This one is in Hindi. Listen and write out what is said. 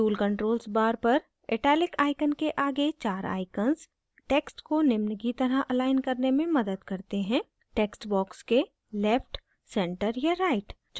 tool controls bar पर italic icon के आगे bar icons text को निम्न की तरह अलाइन करने में मदद करते हैं text बॉक्स के